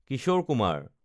Kishore Kumar